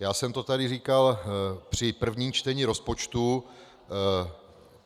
Já jsem to tady říkal při prvním čtení rozpočtu.